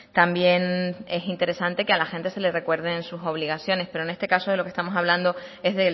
también es interesante que a la gente se les recuerden sus obligaciones pero en este caso lo que estamos hablando es